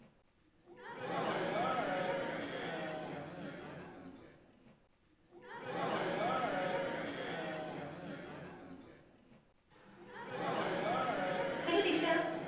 Hello Nisha,